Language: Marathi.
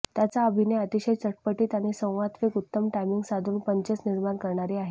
त्याचा अभिनय अतिशय चटपटीत आणि संवादफेक उत्तम टायमिंग साधून पंचेस निर्माण करणारी आहे